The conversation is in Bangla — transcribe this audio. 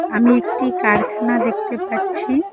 আমি একটি কারখানা দেখতে পাচ্ছি।